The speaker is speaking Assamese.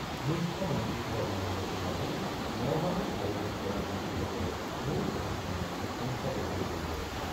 মুখ্যমন্ত্ৰী সৰ্বানন্দ সোণোৱালে নগাঁৱত আয়োজন কৰা যোগদিবসৰ মূল অনুষ্ঠানত অংশগ্ৰহণ কৰিব।